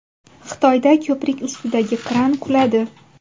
Xitoyda ko‘prik ustidagi kran quladi.